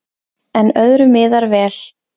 En öðru miðar vel.